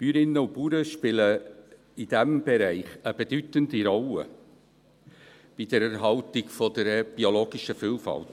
Bäuerinnen und Bauern spielen in diesem Bereich eine bedeutende Rolle bei der Erhaltung der biologischen Vielfalt.